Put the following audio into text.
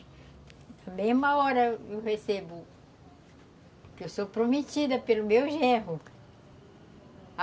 Na mesma hora eu recebo, que eu sou prometida pelo meu genro.